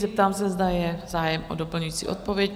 Zeptám se, zda je zájem o doplňující odpověď?